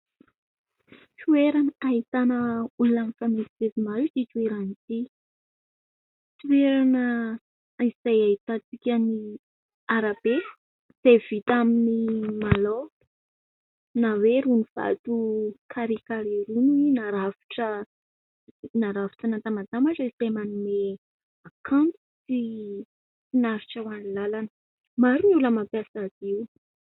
Toerana ahitana olona mifamezivezy maro ity toerana ity. Toerana izay ahitan-tsika ny arabe izay vita amin'ny malao na hoe irony vato "carré carré" irony narafitra, narafitra natambatambatra dia manome kanto sy finaritra ho an'ny làlana. Maro ny olona mampiasa azy io.